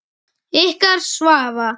Ykkar Svava.